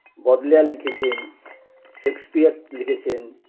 Bob Layer লিখেছেন Shakespeare লিখেছেন